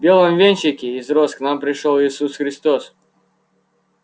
в белом венчике из роз к нам пришёл иисус христос